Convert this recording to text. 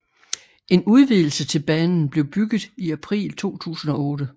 En udvidelse til banen blev bygget i april 2008